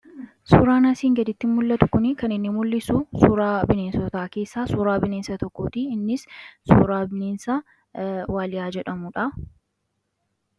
Suuraan asiin gadittin mul'atu kun kan inni mul'isu suuraa bineensotaa keessa suuraa bineensa tokkootii innis suuraa bineensa waaliyaa jedhamudha.